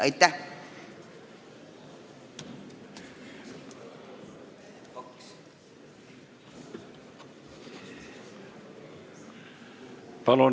Aitäh!